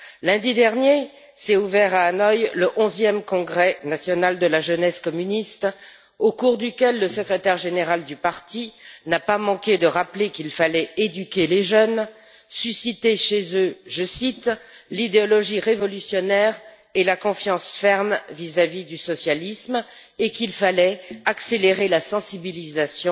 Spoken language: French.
Lundi dernier s'est ouvert à Hanoï le onzième Congrès national de la jeunesse communiste, au cours duquel le secrétaire général du parti n'a pas manqué de rappeler qu'il fallait éduquer les jeunes et susciter chez eux je cite l'idéologie révolutionnaire et la confiance ferme vis à vis du socialisme, et qu'il fallait accélérer la sensibilisation,